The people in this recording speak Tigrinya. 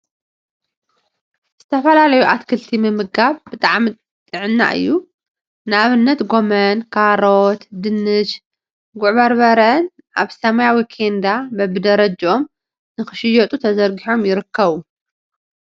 ዝተፈላለዩ አትክልቲ ምምጋብ ብጣዕሚ ጥዕና እዩ፡፡ ንአብነት ጎመን፣ ካሮት፣ ድንሽን ጉዕ በርበረን አበ ሰማያዊ ኬንዳ በቢ ደረጅኦም ንክሽየጡ ተዘርጊሖም ይርከቡ፡፡